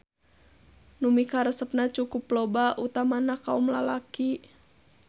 Nu mikaresepna cukup loba utamana kaom lalaki.